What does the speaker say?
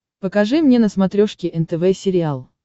покажи мне на смотрешке нтв сериал